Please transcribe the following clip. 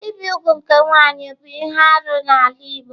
Ibi úgwù nke nwanyị bụ ihe arụ n'ala Igbo.